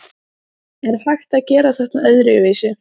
Er hægt að gera þetta öðruvísi?